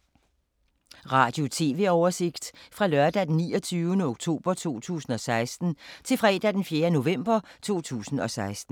Radio/TV oversigt fra lørdag d. 29. oktober 2016 til fredag d. 4. november 2016